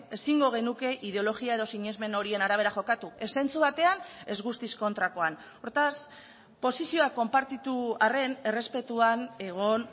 ezingo genuke ideologia edo sinesmen horien arabera jokatu ez zentzu batean ez guztiz kontrakoan hortaz posizioak konpartitu arren errespetuan egon